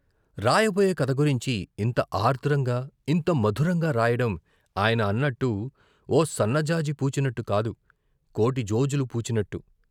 రాయబోయే కథ గురించి ఇంత ఆర్ద్రంగా ఇంత మధురంగా రాయడం ఆయన అన్నట్టు ఓ సన్న జాజి పూచినట్టు కాదు, కోటి జొజులు పూచినట్టు.